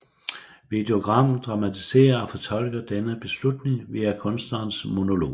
Videogrammet dramatiserer og fortolker denne beslutning via kunstnerens monolog